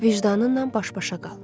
Vicdanınla baş-başa qal.